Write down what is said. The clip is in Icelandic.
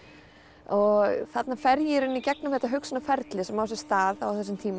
og þarna fer ég í gegnum þetta hugsanaferli sem á sér stað á þessum tíma